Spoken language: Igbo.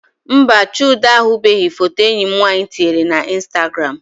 Mba, Chude ahụbeghị foto enyi m nwaanyị tinyere na instagram